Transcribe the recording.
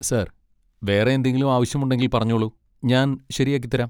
Sir, വേറെ എന്തെങ്കിലും ആവശ്യമുണ്ടെങ്കിൽ പറഞ്ഞോളൂ. ഞാൻ ശരിയാക്കിത്തരാം.